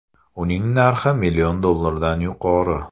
Uning narxi million dollardan yuqori.